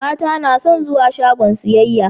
mata nason guwa shagon siyayya